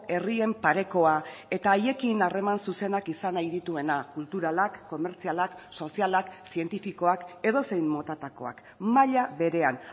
herrien parekoa eta haiekin harreman zuzenak izan nahi dituenak kulturalak komertzialak sozialak zientifikoak edozein motatakoak maila berean